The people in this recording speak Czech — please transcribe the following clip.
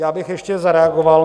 Já bych ještě zareagoval.